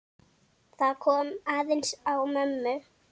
Það kom aðeins á mömmu.